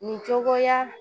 Nin cogoya